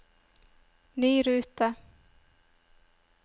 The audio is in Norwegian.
ny rute